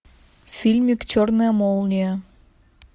фильмик черная молния